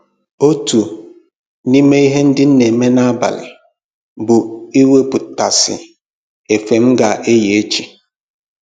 Otu n'ime ihe ndị m na-eme n'abalị bụ iwepụtasị efe m ga-eyi echi